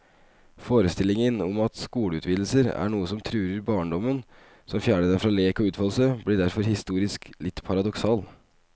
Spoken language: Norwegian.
Forestillingen om at skoleutvidelser er noe som truer barndommen, som fjerner den fra lek og utfoldelse, blir derfor historisk litt paradoksal.